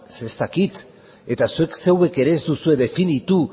zeren ez dakit eta zuek ere ez duzue definitu